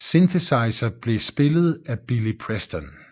Synthesizer blev spillet af Billy Preston